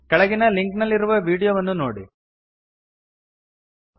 ಕೆಳಗಿನ ಲಿಂಕ್ ನಲ್ಲಿರುವ ವೀಡಿಯೋವನ್ನು ನೋಡಿರಿ